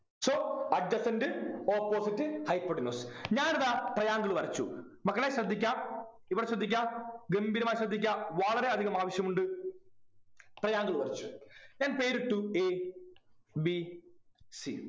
so adjacent opposite hypotenuse ഞാനിതാ triangle വരച്ചു മക്കളെ ശ്രദ്ധിക്കാ ഇവിടെ ശ്രദ്ധിക്കാ ഗംഭീരമായി ശ്രദ്ധിക്ക വളരെയധികം ആവശ്യമുണ്ട് triangle വരച്ചു ഞാൻ പേരിട്ടു A B C